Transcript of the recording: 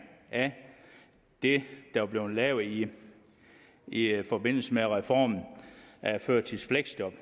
af det der blev lavet i i forbindelse med reformen af førtidspension